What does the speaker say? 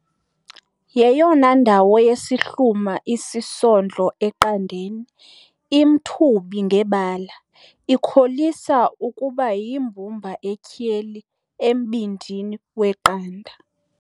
yeyona ndawo yesihluma isisondlo eqandeni, imthubi ngebala, ikholisa ukuba yimbumba etyheli embindini weqanda,